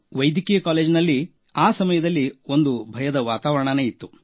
ವೈದ್ಯಕೀಯ ಕಾಲೇಜಿನಲ್ಲಿ ಆ ಸಮಯದಲ್ಲಿ ಒಂದು ಭಯದ ವಾತಾವರಣವಿತ್ತು